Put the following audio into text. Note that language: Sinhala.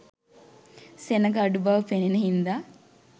සෙනග අඩු බව පෙනෙන හින්දා